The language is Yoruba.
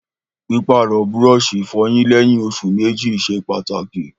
Pípàrọ̀ búrọ̀sì ìfọyín léyìn osù mẹ́jì ṣe pàtàkì